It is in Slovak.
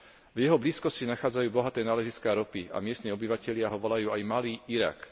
V jeho blízkosti sa nachádzajú bohaté náleziská ropy a miestni obyvatelia ho volajú aj Malý Irak.